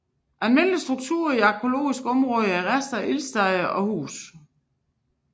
Almindelige strukturer i arkæologiske områder er rester af ildsteder og huse